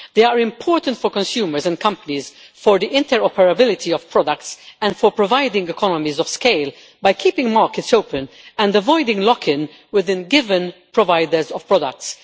They are important for consumers and companies, for the interoperability of products and for providing economies of scale by keeping markets open and avoiding lock in with given providers or products.